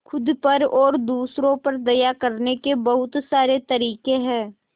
खुद पर और दूसरों पर दया करने के बहुत सारे तरीके हैं